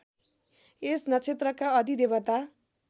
यस नक्षत्रका अधिदेवता